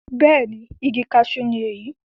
bẹ́ẹ̀ni, igi kasú ni èyí